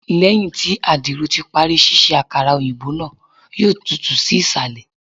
Lẹhin ti adiro ti pari ṣiṣe akara oyinbo naa, yoo tutu si isalẹ